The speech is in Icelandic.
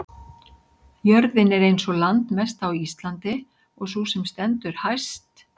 jörðin er ein sú landmesta á íslandi og sú sem stendur hæst